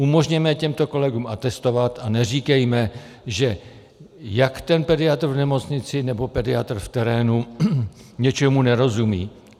Umožněme těmto kolegům atestovat a neříkejme, že jak ten pediatr v nemocnici nebo pediatr v terénu něčemu nerozumí.